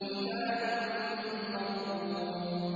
كِتَابٌ مَّرْقُومٌ